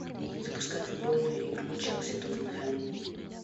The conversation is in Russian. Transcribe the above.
запускай футбольную игру челси тоттенхэм